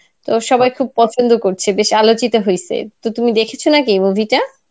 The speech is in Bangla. তো সবাই খুব পছন্দ করছে বেশ আলোচিত হইছে, তো তুমি দেখেছ নাকি movie টা?